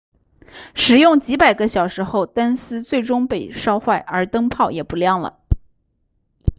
使用几百个小时后灯丝最终被烧坏而灯泡也不亮了